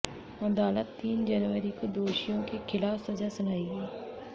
अदालत तीन जनवरी को दोषियों के ख़िलाफ़ सज़ा सुनाएगी